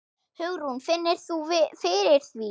Hugrún: Finnur þú fyrir því?